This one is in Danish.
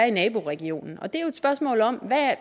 i naboregionen det